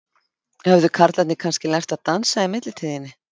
Höfðu karlarnir kannski lært að dansa í millitíðinni?